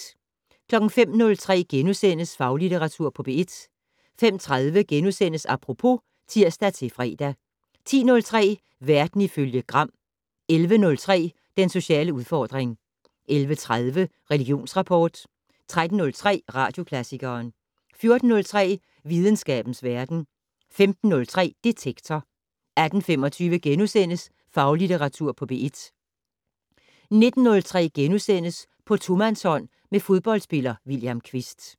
05:03: Faglitteratur på P1 * 05:30: Apropos *(tir-fre) 10:03: Verden ifølge Gram 11:03: Den sociale udfordring 11:30: Religionsrapport 13:03: Radioklassikeren 14:03: Videnskabens verden 15:03: Detektor 18:25: Faglitteratur på P1 * 19:03: På tomandshånd med fodboldspiller William Kvist *